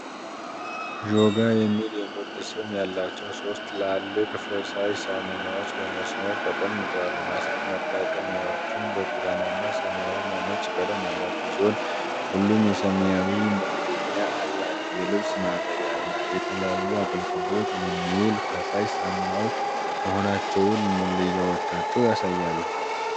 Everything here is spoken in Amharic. "ዦጋ" የሚል የምርት ስም ያላቸው ሶስት ትልልቅ ፈሳሽ ሳሙናዎች በመስመር ተቀምጠዋል። ማጠራቀሚያዎቹ ብርቱካናማ፣ ሰማያዊ እና ነጭ ቀለም ያላቸው ሲሆን ሁሉም የሰማያዊ መክደኛ አላቸው። የልብስ ማጠቢያ እና ለተለያዩ አገልግሎት የሚውል ፈሳሽ ሳሙናዎች መሆናቸውን መለያዎቻቸው ያሳያሉ።